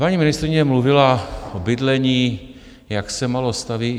Paní ministryně mluvila o bydlení, jak se málo staví.